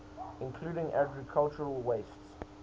including agricultural wastes